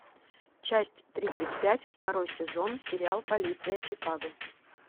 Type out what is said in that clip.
часть тридцать пять второй сезон сериал полиция чикаго